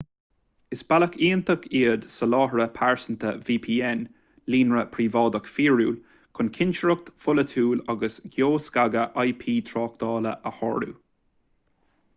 is bealach iontach iad soláthraithe pearsanta vpn líonra príobháideach fíorúil chun cinsireacht pholaitiúil agus geoscagadh ip tráchtála a shárú